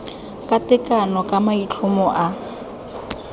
ka tekano ka maitlhomo a